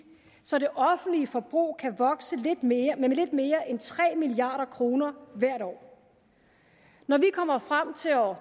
så det offentlige forbrug kan vokse med lidt mere end tre milliard kroner hvert år når vi kommer frem til år